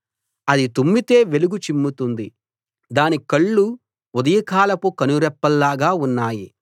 అది తుమ్మితే వెలుగు చిమ్ముతుంది దాని కళ్ళు ఉదయకాలపు కనురెప్పల్లాగా ఉన్నాయి